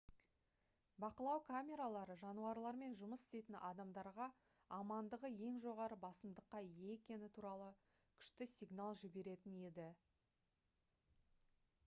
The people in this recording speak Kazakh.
бақылау камералары жануарлармен жұмыс істейтін адамдарға амандығы ең жоғары басымдыққа ие екені туралы күшті сигнал жіберетін еді